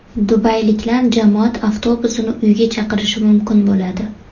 Dubayliklar jamoat avtobusini uyga chaqirishi mumkin bo‘ladi.